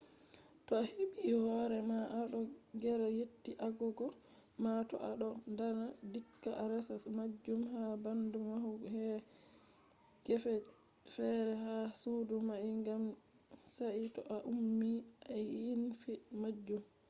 to a hebi hore ma a do gera seti agogo ma to a do dana dikka a resa majun ha bando mahul her gefe fere ha sudo mai gam sai to a ummi a ynfi majun